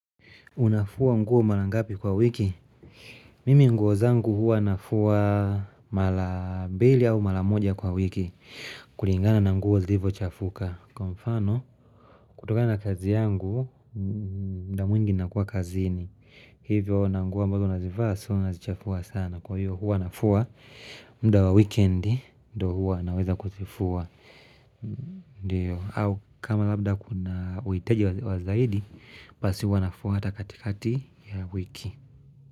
Unafua mguo malangapi kwa wiki? Mimi nguo zangu huwa nafua mala bilia au mala moja kwa wiki kulingana na mguo zivyo chafuka Kwa mfano, kutoka na kazi yangu, mda mwingi nakuwa kazini Hivyo na mguo ambazo nazifaa, soo nazichafua sana Kwa hiyo huwa nafua mda wa weekendi, ndo huwa na weza kutifua Ndiyo, au kama labda kuna wetieji wa zaidi pasi wanafu hata katikati ya wiki.